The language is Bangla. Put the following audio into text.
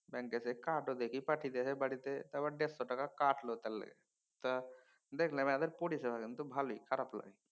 ব্যাঙ্কে সে কার্ডও দেখি পাঠিয়ে দেছে বাড়িতে। তারপর দেড়শ টাকা কাটল তার লিগে। তা দেখলাম এদের পরিষেবা কিন্তু ভালই খারাপ না।